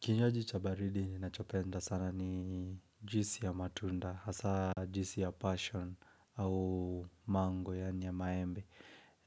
Kinywaji cha baridi ninachopenda sana ni juisi ya matunda, hasa juisi ya passion au mango yaani ya maembe.